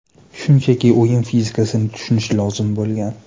Shunchaki o‘yin fizikasini tushunish lozim bo‘lgan.